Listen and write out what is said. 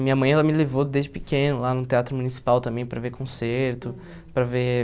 Minha mãe, ela me levou desde pequeno lá no Teatro Municipal também para ver concerto, para ver...